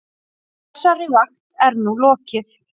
Þessari vakt er nú lokið.